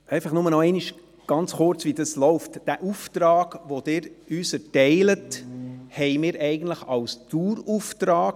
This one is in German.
Ich gebe noch einmal einen kurzen Hinweis dazu, wie es abläuft: Den Auftrag, den Sie uns erteilen, haben wir im Grunde als Dauerauftrag.